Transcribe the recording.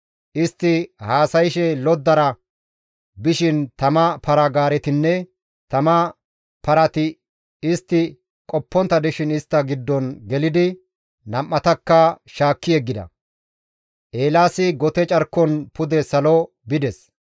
Istti haasayshe loddara bishin tama para-gaaretinne tama parati istti qoppontta dishin istta giddon gelidi nam7atakka shaakki yeggida; Eelaasi gote carkon pude salo bides.